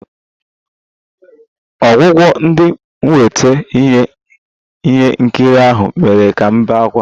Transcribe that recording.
Ọgwụgwụ dị mwute nke ihe nkiri ahụ mere ka m bee ákwá